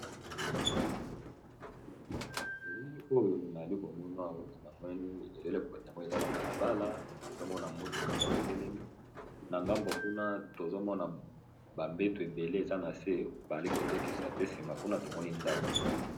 elili oyo naali komona na mweni elele oiamoi eza na balabala tozomona mutuka moko etelemi na ngambo kuna tozomona bambeto ebele eza na se bazli kotekisa pe nsima kuna tomoni ndako